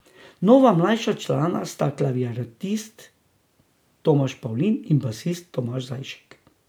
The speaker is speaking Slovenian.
Nova, mlajša člana sta klaviaturist Tomaž Pavlin in basist Tomaž Zajšek.